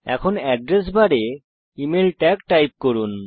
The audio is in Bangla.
এখন এড্রেস বারে ইমেইল ট্যাগ টাইপ করুন